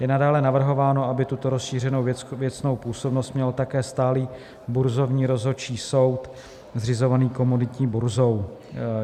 Je nadále navrhováno, aby tuto rozšířenou věcnou působnost měl také stálý burzovní rozhodčí soud zřizovaný Komoditní burzou.